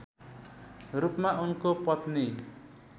रूपमा उनको पत्नी